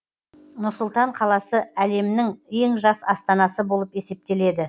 нұр сұлтан қаласы әлемнің ең жас астанасы болып есептеледі